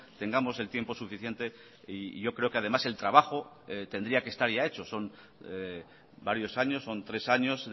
tengamos el tiempo suficiente y yo creo que además el trabajo tendría que estar ya hecho son varios años son tres años